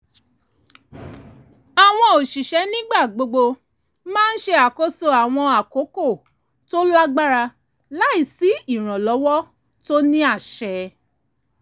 àwọn òṣìṣẹ́ nígbà gbogbo máa ń ṣe àkóso àwọn àkókò tó lágbára láì sí ìrànlọ́wọ́ tó ní àṣẹ